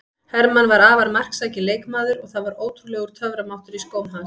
Hermann var afar marksækinn leikmaður og það var ótrúlegur töframáttur í skóm hans.